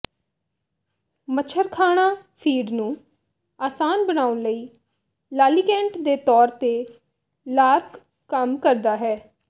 ਮੱਛਰਖਾਣਾ feed ਨੂੰ ਆਸਾਨ ਬਣਾਉਣ ਲਈ ਲਾਲੀਕੈਂਟ ਦੇ ਤੌਰ ਤੇ ਲਾਰਕ ਕੰਮ ਕਰਦਾ ਹੈ